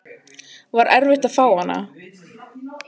Var erfitt að fá hana?